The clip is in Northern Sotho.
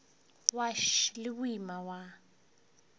wa š le boima wa